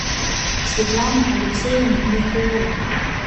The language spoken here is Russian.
светлана алексеевна меркулова